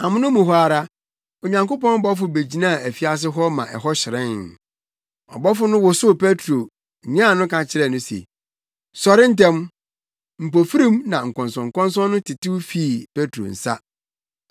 Amono mu hɔ ara, Onyankopɔn bɔfo begyinaa afiase hɔ ma ɛhɔ hyerɛnee. Ɔbɔfo no wosow Petro, nyan no ka kyerɛɛ no se, “Sɔre ntɛm!” Mpofirim na nkɔnsɔnkɔnsɔn no tetew fii Petro nsa.